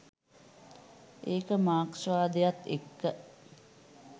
ඒක මාක්ස්වාදයත් එක්ක